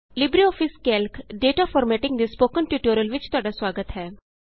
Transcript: LibreOffice Calc data formatting ਦੇ spoken tutorial ਵਿਚ ਤੁਹਾਡਾ ਸੁਆਗਤ ਹੈ